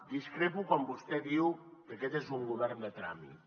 discrepo quan vostè diu que aquest és un govern de tràmit